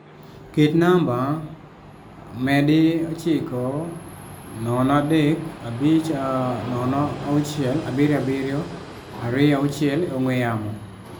Ket namba +9035067726 e ongwe yamo